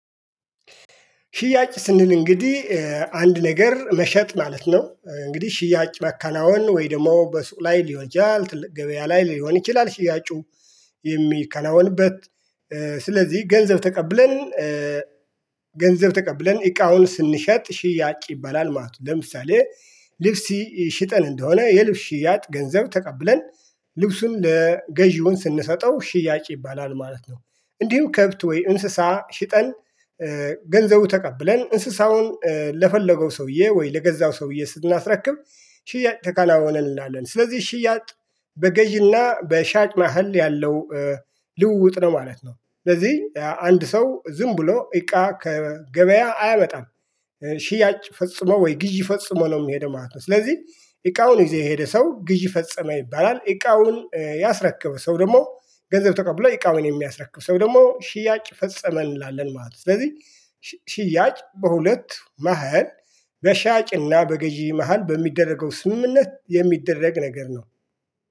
ሽያጭ ስንል እንግዲህ አንድ ነገር መሸጥ ማለት ነው እንግዲህ ሽያጭ ማከናውን ወይ ደግሞ በሱቅ ላይ ሊሆን ይችላል ገበያ ላይ ሊሆን ይችላል ሽጋጩ የሚከናወንበት ስለዚህ ገንዘብ ተቀብለን ገንዘብ ተቀብለን እቃውን ስንሸጥ ሽያጭ ይባላል ማለት ነው። ለምሳሌ ልብስ ሽጠን እንደሆነ የልብስ ሺያጥ ገንዘብ ተቀብለን ልብሱን ለገዢውን ስንሰጠው ሽያጭ ይባላል ማለት ነው። እንዲሁ ከብት ወይ እንስሳ ሽጠን ገንዘቡ ተቀብለን እንስሳውን ለፈለገው ሰውዬ ወይ ለገዛው ሰውዬ ስናስረክብ ሽያጭ ተከናወነ እንላለን። ስለዚህ ሽያጭ በገዢና በሻጭ መሃል ያለው ልውውጥ ነው ማለት ነው። ስለዚህ አንድ ሰው ዝም ብሎ እቃ ከገበያ አያመጣም ሽያጭ ፈጽሞ ወይ ግዢ ፈጽሞ ነው የሚሄደው ማለት ነው። ስለዚህ እቃውን ይዞ የሄደ ሰው ግዥ ፈጸመ ይባላል። እቃውን ያስረክበው ሰው ደግሞ ገንዘብ ተቀብሎ እቃውን የሚያስረክበው ሰው ደግሞ ሽያጭ ፈጸመ እንላለን ማለት ነው። ስለዚህ በሁለት መሃል በሻጭና በገዢ መሃል በሚደረገው ስምምነት የሚደረግ ነገር ነው